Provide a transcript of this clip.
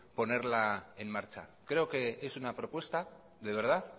ponerla en marcha creo que es una propuesta de verdad